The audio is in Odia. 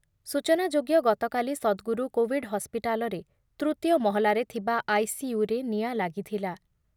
ସୂଚନାଯୋଗ୍ୟ ଗତକାଲି ସଦ୍‌ଗୁରୁ କୋଭିଡ୍ ହସ୍ପିଟାଲରେ ତୃତୀୟ ମହଲାରେ ଥିବା ଆଇସିୟୁରେ ନିଆଁ ଲାଗିଥିଲା ।